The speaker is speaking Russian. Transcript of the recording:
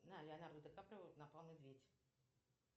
на леонардо ди каприо напал медведь